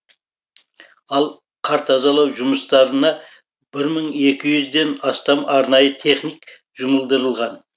ал қар тазалау жұмыстарына бір мың екі жүзден астам арнайы техник жұмылдырылған